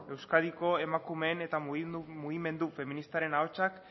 euskadiko emakumeen eta mugimendu feministaren ahotsak